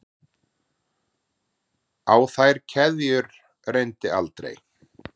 Á þær keðjur reyndi aldrei.